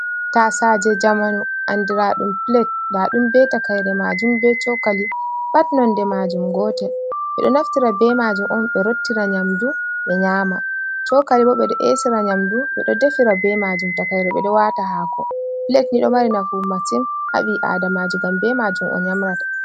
Tasaje jamanu andiraɗum pilet, ndaɗum be takaire majum be chokali pat nonde majum gotel ,ɓe ɗo naftira be majum on ɓe rottira nyamdu ɓe nyama, cokali bo ɓe ɗo esira nyamdu ɓe ɗo defira be majum, takaire ɓedo wata hako pilet Ni ɗo mari nafu masim ha ɓi adamaju ngam be majum o nyamrata.